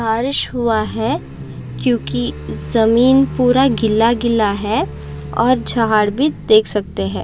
बारिश हुआ है क्यूंकि ज़मीन पूरा गिला गिला है और झाड भी देख सकते है।